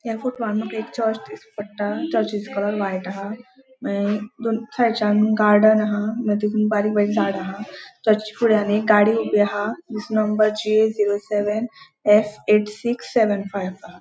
या फोटो वान माका एक चर्च दिश्टी पट्टा चर्चि चो कलर व्हाइट हा मागिर दोन थंयच्यान गार्डन हा मागिर तेतून बारीक बारीक झाडा अहा तेचे फुड़े आणि एक गाड़ी उभी आहा तेजे नंबर जे zero seven F eight six seven five five हा.